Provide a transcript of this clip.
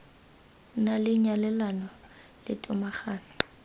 na le nyalelano le tomagano